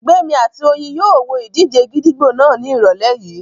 Gbémi àti Oyin yóò wo ìdíje gídígbò náà ní ìrọ̀lẹ́ yìí